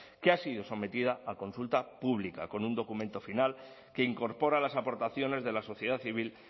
que ha sido sometida a consulta pública con un documento final que incorpora las aportaciones de la sociedad civil